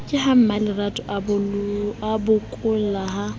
ke ha mmalerato abokolla ha